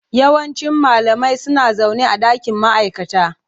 Yawancin malamai suna zaune a dakin ma'aikata.